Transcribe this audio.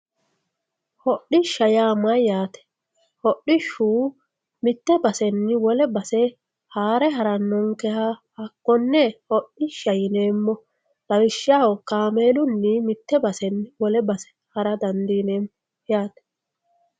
Hodhishsha yaa mayyate hodhishshu mite baseni wole base haare haranonkeha hakkone hodhishsha yineemmo lawishshaho kaameelunni mite baseni wole base ha'ra dandiineemmo yaate.